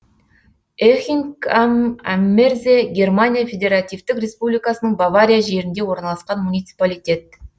эхинг ам аммерзе германия федеративтік республикасының бавария жерінде орналасқан муниципалитет